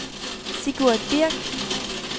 Sigurd Birk